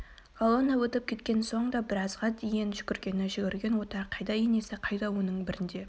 колонна өтіп кеткен соң да біразға дейін жүгіргені жүгірген отар қайда енесі қайда оның бірін де